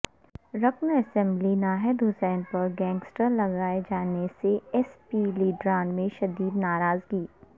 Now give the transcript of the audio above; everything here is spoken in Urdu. رکن اسمبلی ناہید حسن پر گینگسٹر لگائے جانے سے ایس پی لیڈران میں شدید ناراضگی